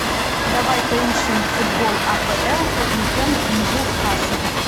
давай поищем футбол апл тоттенхэм ньюкасл